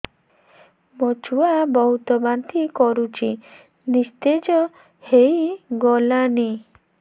ମୋ ଛୁଆ ବହୁତ୍ ବାନ୍ତି କରୁଛି ନିସ୍ତେଜ ହେଇ ଗଲାନି